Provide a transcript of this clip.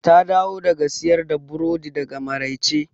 Ta dawo daga siyar da burodi da maraice.